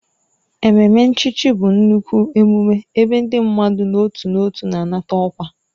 Ememe nchichi bụ nnukwu emume ebe ndị mmadụ n'otu n'otu na-anata ọkwa